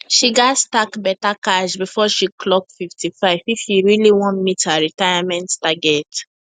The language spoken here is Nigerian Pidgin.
she gats stack better cash before she clock 55 if she really wan meet her retirement target